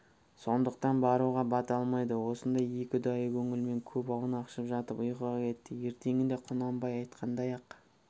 сондықтан баруға бата алмайды осындай екі ұдайы көңілмен көп аунақшып жатып ұйқыға кетті ертеңінде құнанбай айтқандай-ақ